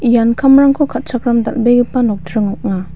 ian kamrangko ka·chakram dal·begipa nokdring ong·a.